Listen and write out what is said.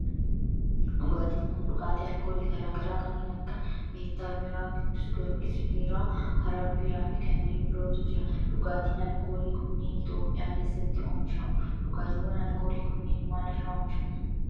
Dhugaatin kun dhugaatii alkoolii garaa garaa kanneen akka meettaa biiraa, Qiddus Giyoorgis biiraa, Harar Biiraa fi kanneen birootu jira. Dhugaatin alkoolii kunneen Itiyoophiyaa keessatti oomishamu. Dhugaatiwwan alkoolii kunneen maal irraa oomishamu?